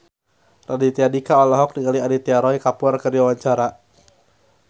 Raditya Dika olohok ningali Aditya Roy Kapoor keur diwawancara